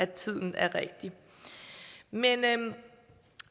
tiden er rigtig men